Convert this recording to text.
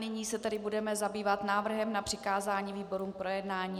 Nyní se tedy budeme zabývat návrhem na přikázání výborům k projednání.